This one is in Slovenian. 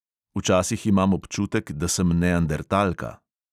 Včasih imam občutek, da sem neandertalka.